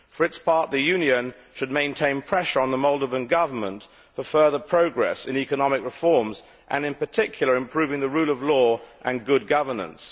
For its part, the Union should maintain pressure on the Moldovan Government for further progress in economic reforms and, in particular, improving the rule of law and good governance.